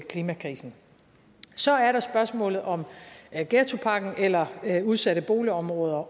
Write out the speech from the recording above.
klimakrisen så er der spørgsmålet om ghettopakken eller udsatte boligområder